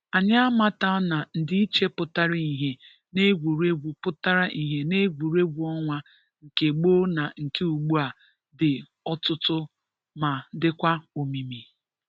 anyị a mata na ndị iche pụtara ihe n’egwuregwu pụtara ihe n’egwuregwu ọnwa nke gboo na nke ugbua dị ọtụtụ ma dịkwa omimi.